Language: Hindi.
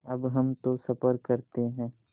अब हम तो सफ़र करते हैं